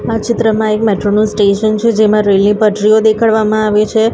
આ ચિત્રમાં એક મેટ્રો નુ સ્ટેશન છે જેમા રેલ ની પટ્રીઓ દેખાડવામાં આવે છે.